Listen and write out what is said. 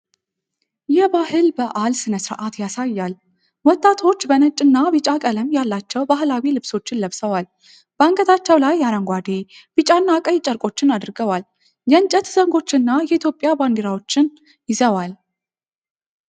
የባህል በዓል ሥነ ሥርዓት ያሳያል። ወጣቶች ነጭና ቢጫ ቀለም ያላቸው ባህላዊ ልብሶችን ለብሰዋል። በአንገታቸው ላይ አረንጓዴ፣ ቢጫና ቀይ ጨርቆችን አድርገዋል። የእንጨት ዘንጎችና የኢትዮጵያ ባንዲራዎችን ይዘዋል።